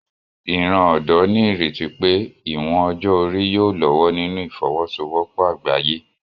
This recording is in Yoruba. Ìran ọ̀dọ́ ní ìrètí pé ìwọ̀n ọjọ́ orí yóò lọ́wọ́ nínú ìfọwọ́sowọ́pọ̀ àgbáyé